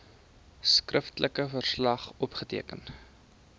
skriftelike verslag opgeteken